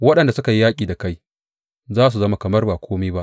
Waɗanda suke yaƙi da kai za su zama kamar ba kome ba.